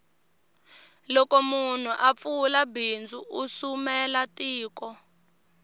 loko munhu a pfula bindzu u sumela tiko